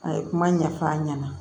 A ye kuma ɲɛf'a ɲɛna